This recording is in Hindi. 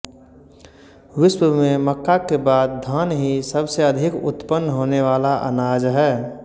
विश्व में मक्का के बाद धान ही सबसे अधिक उत्पन्न होने वाला अनाज है